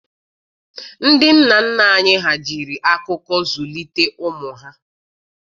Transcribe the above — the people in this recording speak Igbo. Ndị nna nna anyị ha jiri akụkọ zulitere ụmụ ha.